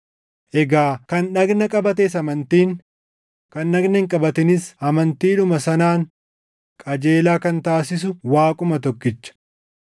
egaa kan dhagna qabates amantiin, kan dhagna hin qabatinis amantiidhuma sanaan qajeelaa kan taasisu Waaquma tokkicha.